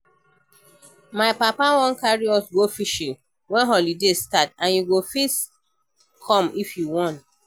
My papa wan carry us go fishing wen holiday start and you go fit come if you want